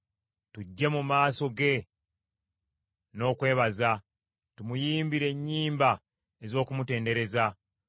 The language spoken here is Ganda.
Tujje mu maaso ge n’okwebaza; tumuyimbire ennyimba ez’okumutendereza.